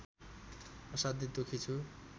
असाध्यै दुखी छु